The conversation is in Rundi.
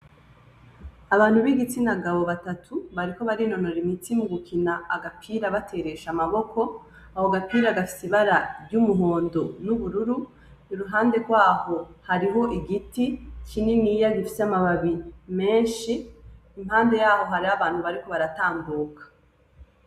Abantu b'igitsina gabo batatu bariko barinonora imitsi mu gukina agapira bateresheje amaboko, ako gapira gafise ibara ry'umuhondo n'ubururu, iruhande rwaho hari igiti kininiya gifise amababi menshi impande yaho hariho abantu bariko baratambuka.